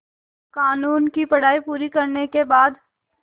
क़ानून की पढा़ई पूरी करने के बाद